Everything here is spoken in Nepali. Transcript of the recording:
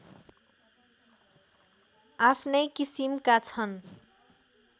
आफ्नै किसिमका छन्